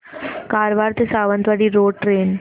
कारवार ते Sawantwadi road train